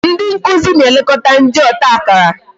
Ndị nkụzi na-elekọta ndị ọta akara